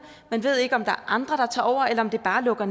man ved ikke om der er andre der tager over eller om de bare lukker